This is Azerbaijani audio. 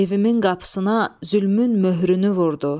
Evimin qapısına zülmün möhrünü vurdu.